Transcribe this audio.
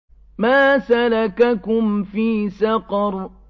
مَا سَلَكَكُمْ فِي سَقَرَ